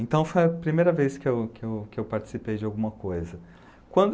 Então, foi a primeira vez que eu que eu que eu participei de alguma coisa. Quando